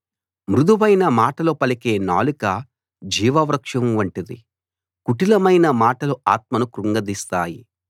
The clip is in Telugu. మృదువైన మాటలు పలికే నాలుక జీవవృక్షం వంటిది కుటిలమైన మాటలు ఆత్మను క్రుంగదీస్తాయి